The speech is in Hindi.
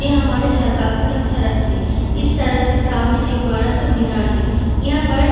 ये हमारे इलाका का एक सड़क है | इस सड़क के सामने एक बड़ा सा मीनार है | यहाँ पर --